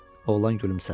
Oğlan gülümsədi.